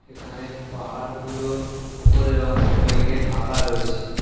এখানে পাহাড়গুলোর উপরের অংশ মেঘে ঢাকা রয়েছে।